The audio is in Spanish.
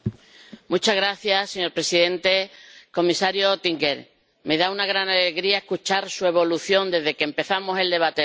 Señor presidente, comisario Oettinger, me da una gran alegría escuchar su evolución desde que empezamos el debate del marco financiero.